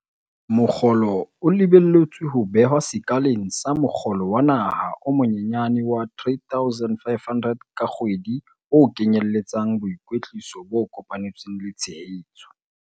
Mokgolo o lebelletswe ho behwa sekaleng sa mokgolo wa naha o monyenyane wa R3 500 ka kgwedi o kenyelletsang boikwetliso bo kopanetsweng le tshehetso.